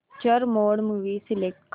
picture mode movie select कर